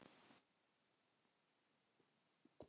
Landbúnaðarráðuneytinu og fjölmiðlum.